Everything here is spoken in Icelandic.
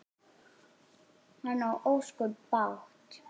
Hann á ósköp bágt.